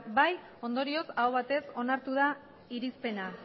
ondorioz aho batez onartu da irizpena